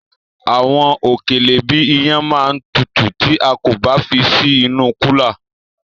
Àwọn òkèlè bíi iyán ma tutù tí a kò bá fi sí inú kúlà.